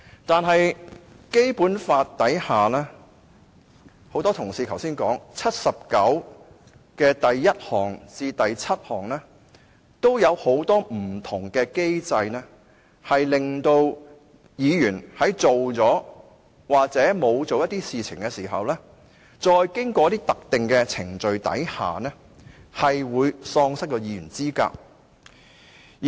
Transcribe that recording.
可是，很多同事剛才也提及，根據《基本法》第七十九條第一項至第七項，也有很多不同機制令議員在做了或沒有做一些事情時，在經過特定程序後，喪失議員資格。